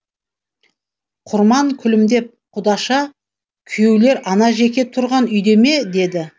құрман күлімдеп құдаша күйеулер ана жеке тұрған үйде ме деді